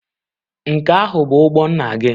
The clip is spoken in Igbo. Nke ahụ bụ ụgbọ nna gị?